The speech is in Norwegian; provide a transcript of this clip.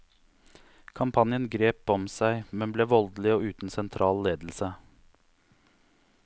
Kampanjen grep om seg, men ble voldelig og uten sentral ledelse.